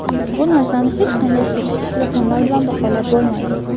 Bu narsani hech qanday statistik raqamlar bilan baholab bo‘lmaydi.